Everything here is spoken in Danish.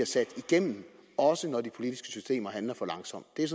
sat igennem også når de politiske systemer handler for langsomt det